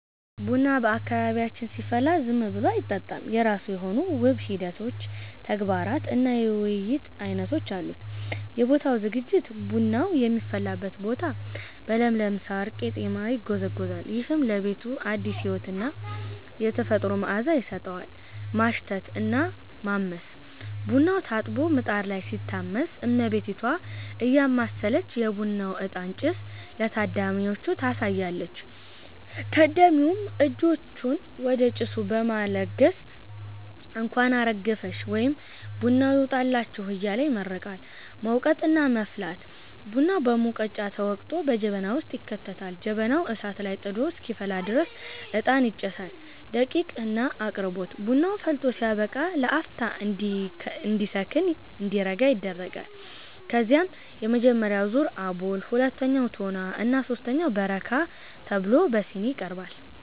ቡና በአካባቢያችን ሲፈላ ዝም ብሎ አይጠጣም፤ የራሱ የሆኑ ውብ ሂደቶች፣ ተግባራት እና የውይይት ዓይነቶች አሉት። የቦታው ዝግጅት፦ ቡናው የሚፈላበት ቦታ በለምለም ሳር (ቀጤማ) ይጎዘጎዛል። ይህም ለቤቱ አዲስ ሕይወትና የተፈጥሮ መዓዛ ይሰጠዋል። ማሽተት እና ማመስ፦ ቡናው ታጥቦ ምጣድ ላይ ሲታመስ፣ እመቤቲቷ እያማሰለች የቡናውን እጣን (ጭስ) ለታዳሚዎቹ ታሳያለች። ታዳሚውም እጆቹን ወደ ጭሱ በመለገስ "እንኳን አረገፈሽ" ወይም "ቡናው ይውጣላችሁ" እያለ ይመርቃል። መውቀጥ እና መፍላት፦ ቡናው በሙቀጫ ተወቅጦ በጀበና ውስጥ ይከተታል። ጀበናው እሳት ላይ ጥዶ እስኪፈላ ድረስ እጣን ይጨሳል። ደቂቅ እና አቅርቦት፦ ቡናው ፈልቶ ሲያበቃ ለአፍታ እንዲከን (እንዲረጋ) ይደረጋል። ከዚያም የመጀመሪያው ዙር (አቦል)፣ ሁለተኛው (ቶና) እና ሦስተኛው (በረካ) ተብሎ በሲኒ ይቀርባል።